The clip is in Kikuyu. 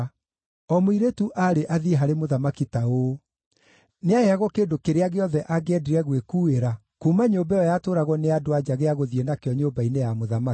O mũirĩtu aarĩ athiĩ harĩ mũthamaki ta ũũ: Nĩaheagwo kĩndũ kĩrĩa gĩothe angĩendire gwĩkuuĩra kuuma nyũmba ĩyo yatũũragwo nĩ andũ-a-nja gĩa gũthiĩ nakĩo nyũmba-inĩ ya mũthamaki.